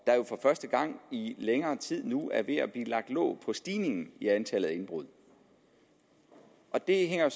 første gang i længere tid nu er ved at blive lagt låg på stigningen i antallet af indbrud det hænger